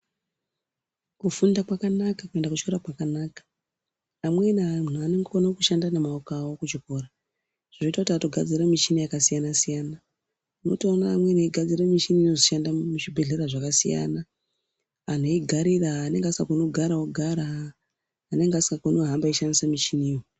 Kufunda kwakanaka, kuenda kuchikora kwakanaka. Amweni anhu anokone kushanda nemaoko awo kuchikora zvinoita kuti atogadzira michini yakasiyana-siyana. Unotoona amweni eigadzira michini inozotoshanda muzvibhehlera zvakasiyana. Anhu eigarira, anenge asikakoni kugara ogara, anenge asikakoni kuhamba eishandisa michiniyo.